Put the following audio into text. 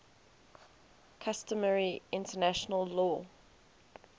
customary international law